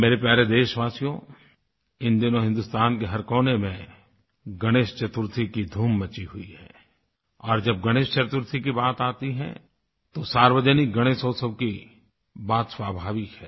मेरे प्यारे देशवासियो इन दिनों हिन्दुस्तान के हर कोने में गणेश चतुर्थी की धूम मची हुई है और जब गणेश चतुर्थी की बात आती है तो सार्वजनिकगणेशोत्सव की बात स्वाभाविक है